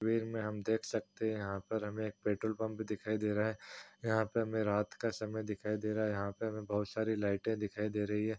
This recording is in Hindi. हम देख सकते हैं यहाँ पर हमे एक पेट्रोल पंप दिखाई दे रहा है यहां पे हमे रात का समय दिखाई दे रहा है यहाँ पर हमे बहोत सारी लाइटे दिखाई दे रही हैं।